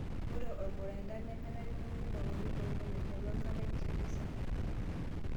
Ore ormurendaa nemenare neuni lapaitin ong'wan aiteru enkata enkikesata.